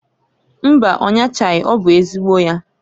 Mbaǃ Ọ nyachaghi. Ọ bụ ezigbo ya.